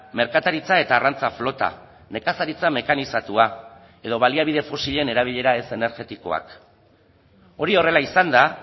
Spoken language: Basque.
merkataritza eta arrantza flota nekazaritza mekanizatua edo baliabide fosilen erabilera ez energetikoak hori horrela izanda